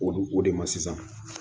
O dun o de ma sisan